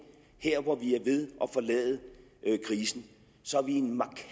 her hvor vi er ved at forlade krisen